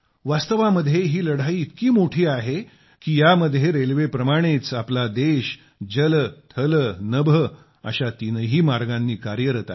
वास्तवामध्ये ही लढाई इतकी मोठी आहे की यामध्ये रेल्वेप्रमाणेच आपला देश जल थल नभ अशा तीनही मार्गांनी कार्यरत आहे